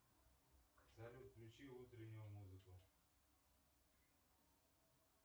салют включи утреннюю музыку